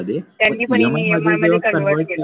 त्यांनी पण EMI मध्ये convert केलं होत.